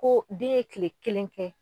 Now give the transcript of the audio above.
Ko den ye kile kelen kɛ